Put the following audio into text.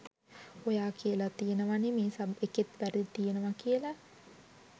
ඔයා කියලා තියෙනවනේ මේ සබ් එකෙත් වැරදි තියෙනවා කියලා.